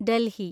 Delhi